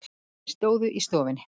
Þau stóðu í stofunni.